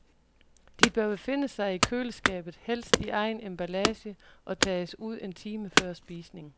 De bør befinde sig i køleskabet, helst i egen emballage, og tages ud en time før spisning.